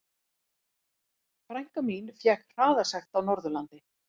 Frænka mín fékk hraðasekt á Norðurlandi.